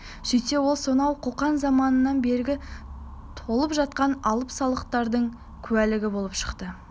сөйтсе ол сонау қоқан заманынан бергі толып жатқан алым-салықтардың куәлігі болып шықты